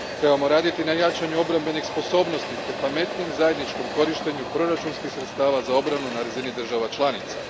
Trebamo raditi na jačanju obrambenih sposobnosti te pametnijem zajedničkom korištenju proračunskih sredstava za obranu na razini država članica.